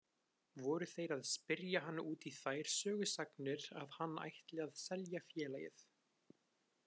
Voru þeir að spyrja hann út í þær sögusagnir að hann ætli að selja félagið.